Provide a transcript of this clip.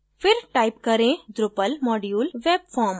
फिर type करें: drupal module webform